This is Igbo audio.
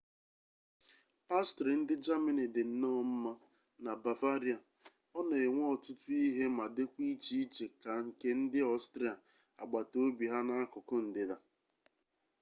pastrị ndị jamini dị nnọọ mma na bavaria ọ na-enwe ọtụtụ ihe ma dịkwa iche iche ka nke ndị ọstrịa agbata obi ha n'akụkụ ndịda